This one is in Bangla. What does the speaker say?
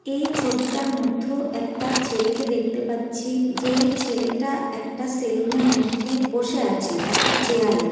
এই ছবিটার মধ্য একটা ছেলেকে দেখতে পাচ্ছি যে ছেলেটা একটা সেলুন -এর মধ্যে বসে আছে একটা চেয়ার -এ ।